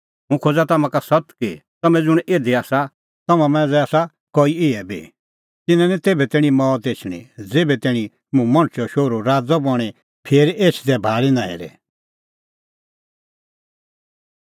हुंह खोज़ा तम्हां का सत्त कि तम्हैं ज़ुंण इधी आसा तम्हां मांझ़ै आसा कई इहै बी तिन्नां लै निं तेभै तैणीं मौत एछणी ज़ेभै तैणीं मुंह मणछे शोहरू राज़ै बणीं फिरी एछदै भाल़ी नां हेरे